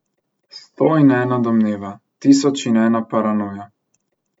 Sto in ena domneva, tisoč in ena paranoja.